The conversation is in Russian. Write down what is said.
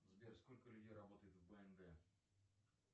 сбер сколько людей работает в бнд